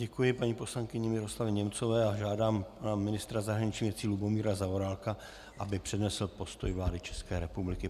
Děkuji paní poslankyni Miroslavě Němcové a žádám ministra zahraničních věcí Lubomíra Zaorálka, aby přednesl postoj vlády České republiky.